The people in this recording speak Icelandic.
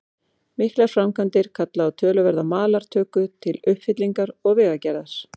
Miklar framkvæmdir kalla á töluverða malartöku til uppfyllingar og vegagerðar.